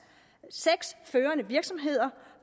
seks førende virksomheder